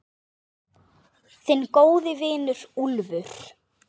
Þinn góði vinur, Úlfur.